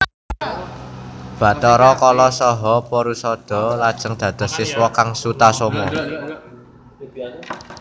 Bathara Kala saha Porusada lajeng dados siswa sang Sutasoma